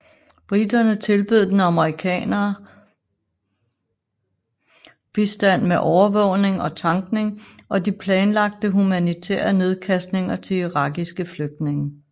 Briterne tilbød den amerikanerne bistand med overvågning og tankning og de planlagte humanitære nedkastninger til irakiske flygtninge